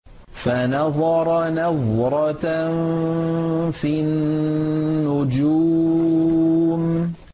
فَنَظَرَ نَظْرَةً فِي النُّجُومِ